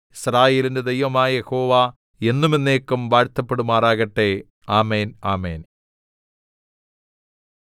യിസ്രായേലിന്റെ ദൈവമായ യഹോവ എന്നും എന്നേക്കും വാഴ്ത്തപ്പെടുമാറാകട്ടെ ആമേൻ ആമേൻ